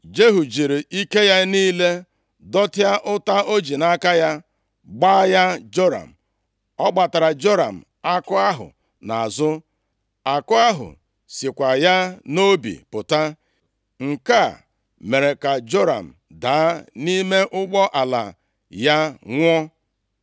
Jehu jiri ike ya niile dọtịa ụta o ji nʼaka ya gba ya Joram. Ọ gbatara Joram àkụ ahụ nʼazụ. Àkụ ahụ sikwa ya nʼobi pụta. Nke a mere ka Joram daa nʼime ụgbọala ya nwụọ.